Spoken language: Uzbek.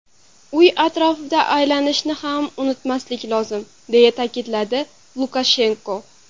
Uy atrofida aylanishni ham unutmaslik lozim”, deya ta’kidladi Lukashenko.